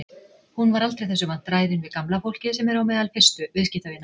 Hún er aldrei þessu vant ræðin við gamla fólkið sem er á meðal fyrstu viðskiptavina.